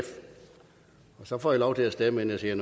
så får i lov til at stemme vi